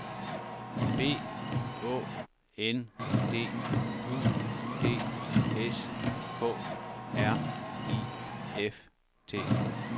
B Å N D U D S K R I F T